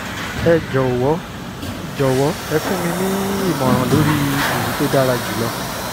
ẹ jọ̀wọ́ jọ̀wọ́ ẹ fún mi ní ìmọ̀ràn lórí èyí tó dára jùlọ